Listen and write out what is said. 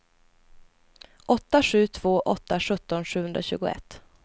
åtta sju två åtta sjutton sjuhundratjugoett